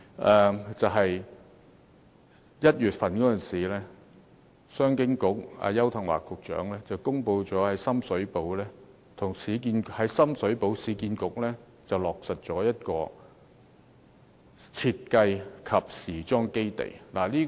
商務及經濟發展局邱騰華局長在1月時公布，市區重建局在深水埗落實成立一個設計及時裝基地。